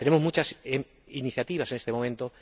Tenemos muchas iniciativas en este momento.